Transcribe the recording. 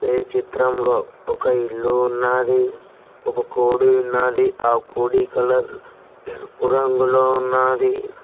పై చిత్రంలో ఒక ఇల్లు ఉన్నాది ఒక కోడి ఉన్నాది ఆ కోడి కలర్ ఎరుపు రంగులో ఉన్నాది.